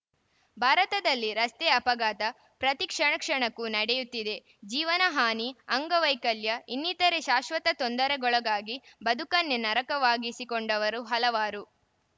ಭಾರತದಲ್ಲಿ ರಸ್ತೆ ಅಪಘಾತ ಪ್ರತಿ ಕ್ಷಣಕ್ಷಣಕ್ಕೂ ನಡೆಯುತ್ತಿದೆ ಜೀವನಹಾನಿ ಅಂಗವೈಕಲ್ಯ ಇನ್ನಿತರೆ ಶಾಶ್ವತ ತೊಂದರೆಗೊಳಗಾಗಿ ಬದುಕನ್ನೆ ನರಕವಾಗಿಸಿಕೊಂಡವರು ಹಲವಾರು